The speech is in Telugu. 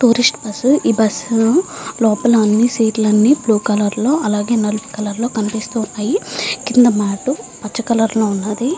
టూరిస్ట్ బస్సు ఈ బస్సు లోపల అని సీట్ లు బ్లూ కలర్ లో అండ్ వైట్ కలూర్ లో కనిపిస్తూ వున్నది కింద మ్యాట్ గ్రీన్ కలర్ లో వున్నది.